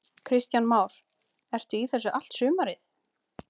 Kristján Már: Ertu í þessu allt sumarið?